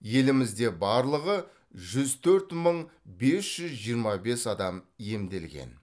елімізде барлығы жүз төрт мың бес жүз жиырма бес адам емделген